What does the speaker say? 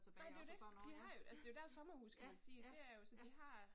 Nej det er jo det, de har jo altså det er jo deres sommerhus kan man sige det er jo så de har